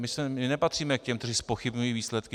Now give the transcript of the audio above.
My nepatříme k těm, kteří zpochybňují výsledky.